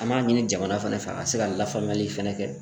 An b'a ɲini jamana fana fɛ ka se ka lafaamuyali fɛnɛ kɛ